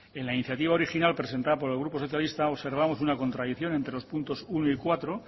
en la iniciativa original presentada por el grupo socialista observamos una contradicción entre los puntos uno y cuatro